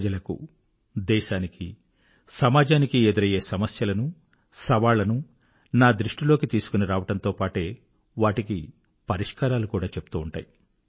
ప్రజలకు దేశానికి సమాజానికి ఎదురయ్యే సమస్యలను సవాళ్ళను నా దృష్టిలోకి తీసుకొని రావడంతో పాటే వాటికి పరిష్కారాలు కూడా చెప్తూ ఉంటాయి